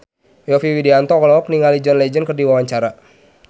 Yovie Widianto olohok ningali John Legend keur diwawancara